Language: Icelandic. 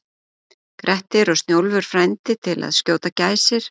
Grettir og Snjólfur frændi til að skjóta gæsir.